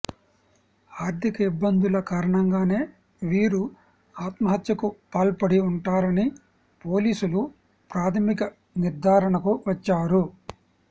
ఆర్థిక ఇబ్బందుల కారణంగానే వీరు ఆత్మహత్యకు పాల్పడి ఉంటారని పోలీసులు ప్రాథమిక నిర్ధారణకు వచ్చారు